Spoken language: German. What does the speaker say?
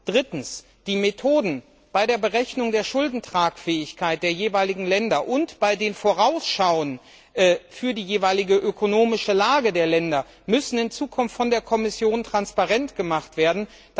Drittens Die Methoden bei der Berechnung der Schuldentragfähigkeit der jeweiligen Länder und bei den Vorausschauen für die jeweilige ökonomische Lage der Länder müssen in Zukunft von der Kommission transparent gemacht werden.